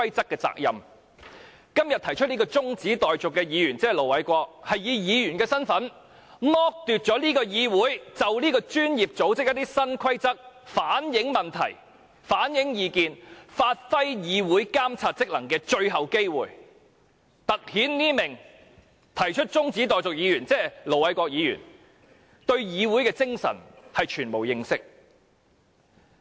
今天動議中止待續議案的議員是以議員身份，剝奪議會就這個專業組織的新規則反映問題及意見，發揮議會監察職能的最後機會，突顯這名動議中止待續議案的議員對議會精神全無認識。